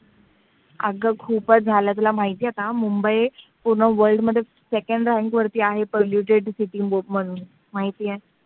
अग खूपच झाले. तुला माहिती आहे का मुंबई पूर्ण world मध्ये second rank मध्ये आहे polluted city म्हणून, माहिती आहे का?